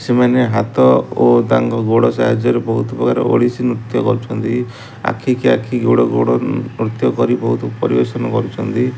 ସେମାନେ ହାତ ଓ ତାଙ୍କ ଗୋଡ଼ ସାହଯ୍ୟରେ ବୋହୁତ ପ୍ରକାର ଓଡିଶୀ ନୃତ୍ୟ କରୁଚନ୍ତି ଆଖିକି ଆଖି ଗୋଡ଼ ଗୋଡ଼ ନୃତ୍ୟ କରି ବୋହୁତ ପରିବେଷଣ କରୁଚନ୍ତି।